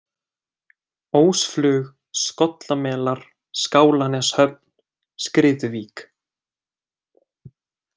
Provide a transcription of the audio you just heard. Ósflug, Skollamelar, Skálaneshöfn, Skriðuvík